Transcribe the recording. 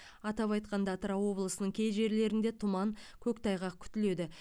атап айтқанда атырау облысының кей жерлерінде тұман көктайғақ күтіледі